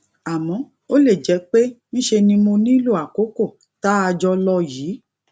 àmó ó lè jé pé ńṣe ni mo nílò àkókò tá a jọ lò yìí